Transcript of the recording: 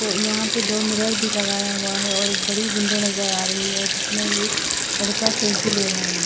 तो यहाँ पे दो मिरर भी लगाया हुआ है और एक बड़ी विन्डो नज़र आ रही है जिसमे एक लड़का सेल्फी ले रहा है।